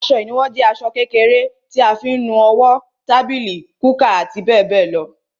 Aṣọ ìnuwọ́ jẹ aṣọ kékèké tí a fi ń nu owó, tábìlì, kúkà àti bẹ́ẹ̀ bẹ́ẹ̀ lọ.